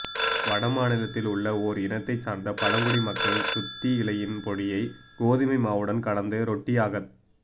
வட மாநிலத்தில் உள்ள ஓர் இனத்தை சார்ந்த பழங்குடி மக்கள் துத்தி இலையின் பொடியை கோதுமை மாவுடன் கலந்த ரொட்டியாகத்